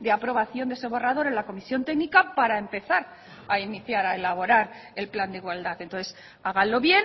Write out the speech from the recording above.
de aprobación de ese borrador en la comisión técnica para empezar a iniciar a elaborar el plan de igualdad entonces háganlo bien